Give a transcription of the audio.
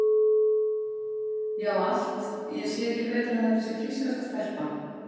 Já, allt, ég sé ekki betur en þetta sé frískasta stelpa.